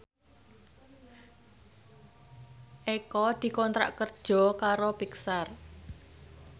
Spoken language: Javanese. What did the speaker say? Eko dikontrak kerja karo Pixar